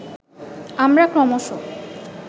আমরা ক্রমশঃ